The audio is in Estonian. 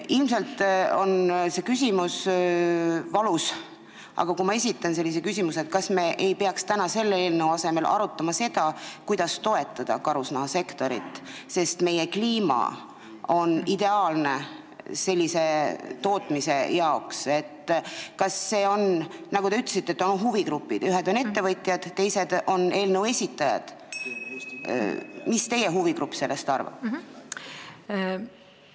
Ilmselt on see küsimus valus, aga kui ma esitan küsimuse, kas me ei peaks täna selle eelnõu asemel arutama seda, kuidas toetada karusnahasektorit, sest meie kliima on ideaalne sellise tootmise jaoks, ja nagu te ütlesite, et on eri huvigrupid, ühed on ettevõtjad, teised on eelnõu esitajad, siis mis teie huvigrupp sellest arvab?